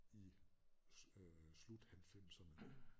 I øh slut halvfemserne